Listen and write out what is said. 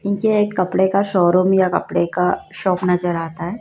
ये एक कपड़े का शोरूम या कपड़े का शॉप नजर आता है।